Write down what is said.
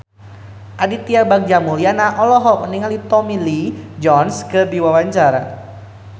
Aditya Bagja Mulyana olohok ningali Tommy Lee Jones keur diwawancara